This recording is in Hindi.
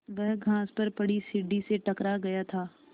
वह घास पर पड़ी सीढ़ी से टकरा गया था